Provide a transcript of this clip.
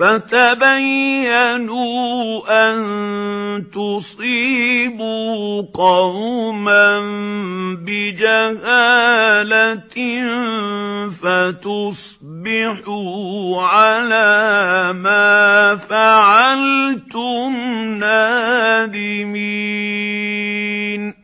فَتَبَيَّنُوا أَن تُصِيبُوا قَوْمًا بِجَهَالَةٍ فَتُصْبِحُوا عَلَىٰ مَا فَعَلْتُمْ نَادِمِينَ